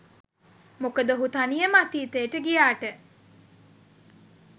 මොකද ඔහු තනියම අතීතයට ගියාට